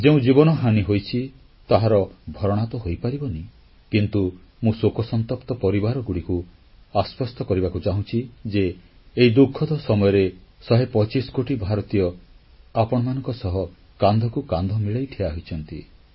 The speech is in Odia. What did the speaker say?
ଯେଉଁ ଜୀବନହାନି ହୋଇଛି ତାହାର ଭରଣା ତ ହୋଇପାରିବନି କିନ୍ତୁ ମୁଁ ଶୋକସନ୍ତପ୍ତ ପରିବାରଗୁଡ଼ିକୁ ଆଶ୍ୱସ୍ତ କରିବାକୁ ଚାହୁଁଛି ଯେ ଏହି ଦୁଃଖଦ ସମୟରେ 125 କୋଟି ଭାରତୀୟ ଆପଣମାନଙ୍କ ସହ କାନ୍ଧକୁ କାନ୍ଧ ମିଳାଇ ଠିଆ ହୋଇଛନ୍ତି